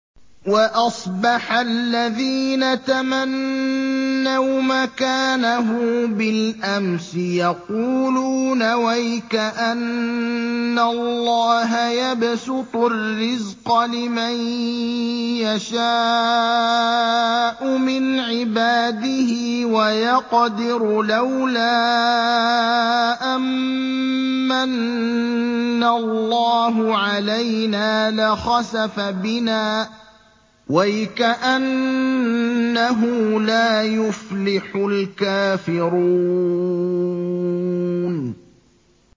وَأَصْبَحَ الَّذِينَ تَمَنَّوْا مَكَانَهُ بِالْأَمْسِ يَقُولُونَ وَيْكَأَنَّ اللَّهَ يَبْسُطُ الرِّزْقَ لِمَن يَشَاءُ مِنْ عِبَادِهِ وَيَقْدِرُ ۖ لَوْلَا أَن مَّنَّ اللَّهُ عَلَيْنَا لَخَسَفَ بِنَا ۖ وَيْكَأَنَّهُ لَا يُفْلِحُ الْكَافِرُونَ